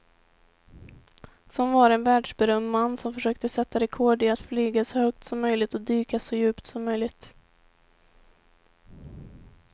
Som var en världsberömd man som försökte sätta rekord i att flyga så högt som möjligt och dyka så djupt som möjligt.